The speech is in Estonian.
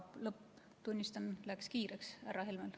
Lõpp, tunnistan, läks kiireks härra Helmel.